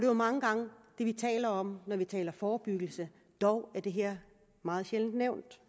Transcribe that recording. jo mange gange det vi taler om når vi taler om forebyggelse dog er det her meget sjældent nævnt